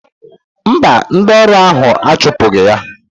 Mba, ndị ọrụ ahụ achụpụghị ya.